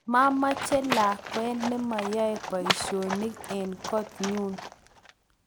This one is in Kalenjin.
mameche lakwa ne mayoe boisionik eng koot nyu